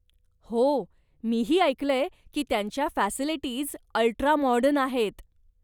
हो, मीही ऐकलंय की त्यांच्या फॅसिलिटीज अल्ट्रा माॅडर्न आहेत.